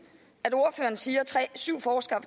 at ordføreren siger syv forskere